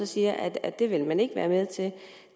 siger at at det vil man ikke være med til